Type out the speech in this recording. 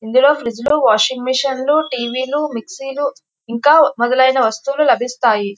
ఇందులో ఫ్రిజ్ లు washing machine లు టీవీ లు మిక్సర్ లు ఇంకా మొదలయిన వస్తువులు కనిపిస్తాయి.